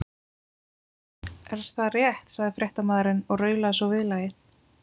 Er það rétt? sagði fréttamaðurinn og raulaði svo viðlagið.